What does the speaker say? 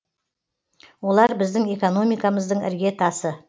олар біздің экономикамыздың іргетасы